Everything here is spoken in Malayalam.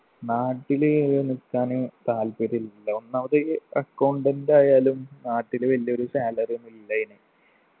നാട്ടില് ഏർ നിക്കാന് താല്പര്യല്ല ഒന്നാമത് accountant ആയാലും നാട്ടില് വലിയൊരു salary ഒന്നുല്ല അയിന്